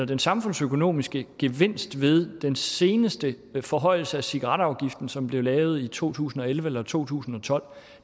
den samfundsøkonomiske gevinst ved den seneste forhøjelse af cigaretafgiften som blev lavet i to tusind og elleve eller to tusind og tolv